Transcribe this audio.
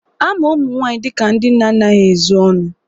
Ama ụmụ nwaanyị dịka ndị na-anaghị ezo ọnụ